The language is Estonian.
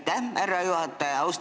Aitäh, härra juhataja!